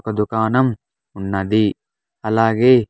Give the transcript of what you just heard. ఒక దుకాణం ఉన్నది అలాగే.